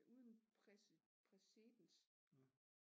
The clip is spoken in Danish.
Præcedens